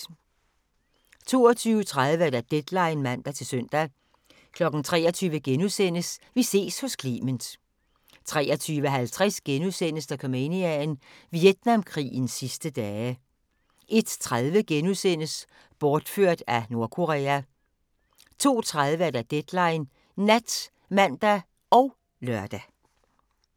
22:30: Deadline (man-søn) 23:00: Vi ses hos Clement * 23:50: Dokumania: Vietnamkrigens sidste dage * 01:30: Bortført af Nordkorea * 02:30: Deadline Nat (man og lør)